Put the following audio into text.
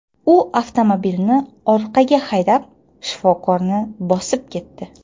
U avtomobilni orqaga haydab, shifokorni bosib ketdi.